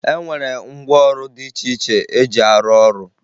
E nwere ngwaọrụ dị iche iche eji arụ ọrụ